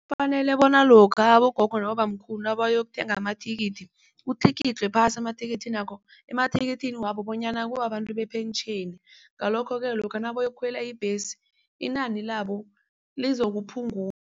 Kufanele bona lokha abogogo nabobamkhulu nabayokuthenga amathikithi kutlikitlwe phasi emathikithini wabo bonyana kubabantu bepentjheni. Ngalokho-ke lokha nabayokukhwela ibhesi inani labo